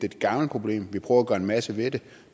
et gammelt problem vi prøver at gøre en masse ved det